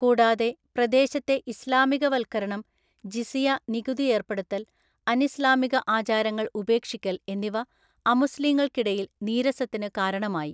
കൂടാതെ, പ്രദേശത്തെ ഇസ്ലാമികവൽക്കരണം, ജിസിയ നികുതി ഏർപ്പെടുത്തൽ, അനിസ്ലാമിക ആചാരങ്ങൾ ഉപേക്ഷിക്കൽ എന്നിവ അമുസ്ലിംകൾക്കിടയിൽ നീരസത്തിന് കാരണമായി.